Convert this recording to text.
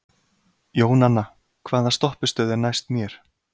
Jónanna, hvaða stoppistöð er næst mér?